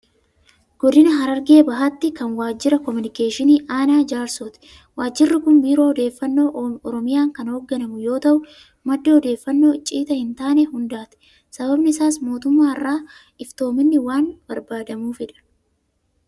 Godina Harargee Bahaatti kan waajjira koominikeeshinii Aanaa Jaarsooti. Waajjirri kun Biiroo odeeffannoo Oromiyaan Kan hoogganamu yoo ta'u, madda odeeffannoo icciita hin taane hundaati. Sababni isaas mootummaa irraa Iftoominni waan barbaadamuufidha.